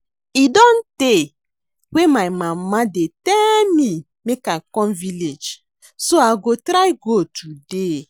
E don tey wey my mama dey tell me make I come village so I go try go today